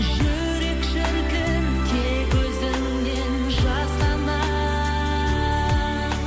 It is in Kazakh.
жүрек шіркін тек өзіңнен жасқанар